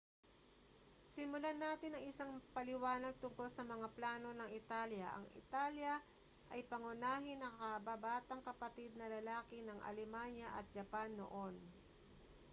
simulan natin sa isang paliwanag tungkol sa mga plano ng italya ang italya ay pangunahing nakababatang kapatid na lalaki ng alemanya at japan noon